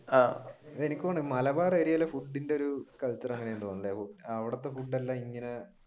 ആഹ് എനിക്ക് തോന്നണേ മലബാർ area യിൽ ഫുഡിന്റെ ഒരു അവിടത്തെ ഫുഡ് എല്ലാം ഇങ്ങനെ